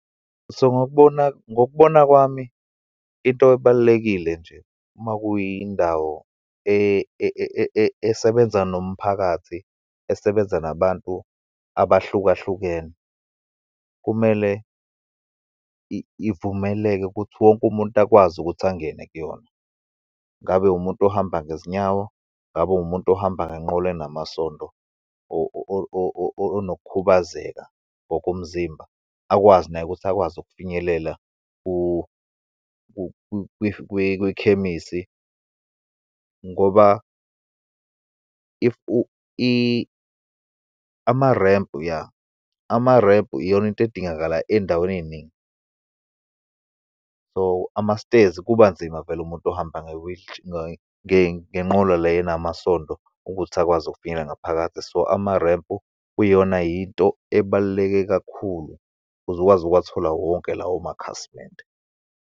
So, ngokubona, ngokubona kwami into ebalulekile nje, uma kuyindawo esebenza nomphakathi, esebenza nabantu abahlukahlukene, kumele ivumeleke ukuthi wonke umuntu akwazi ukuthi angene kuyona. Ngabe umuntu ohamba ngezinyawo, ngabe umuntu ohamba ngenqola enamasondo, onokukhubazeka ngokomzimba, akwazi naye ukuthi akwazi ukufinyelela kwikhemisi. Ngoba, if amarempu ya, amarempu iyona into edingakala eyindaweni eyiningi. So, amasitezi kuba nzima vele umuntu ohamba , ngenqola le enamasondo ukuthi akwazi ukufinyelela ngaphakathi. So, amarempu kuyiyona yinto ebaluleke kakhulu ukuze ukwazi ukuwathola wonke lawo makhasimende.